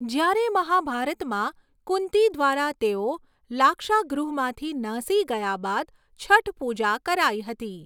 જ્યારે મહાભારતમાં કુંતી દ્વારા તેઓ લાક્ષાગૃહમાંથી નાસી ગયા બાદ છઠ પૂજા કરાઈ હતી.